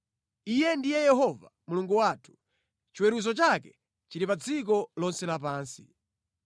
Iye ndiye Yehova Mulungu wathu; chiweruzo chake chili pa dziko lonse lapansi.